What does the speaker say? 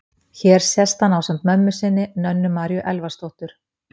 Hér sést hann ásamt mömmu sinni, Nönnu Maríu Elvarsdóttur.